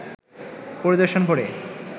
পরিদর্শন করে